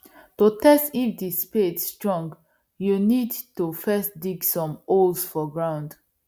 to test if the spade strong you need to first dig some holes for ground